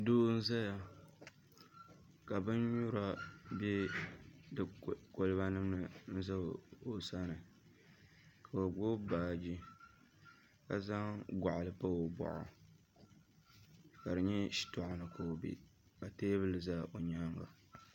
Doo n ʒɛya ŋo ka bin nyura bɛ di kolba nim ni n ʒɛ o sani ka o gbubi baaji ka zaŋ goɣali pa o boɣu ka di nyɛ shitoɣu ni ka o bɛ ka teebuli ʒɛ o nyaanga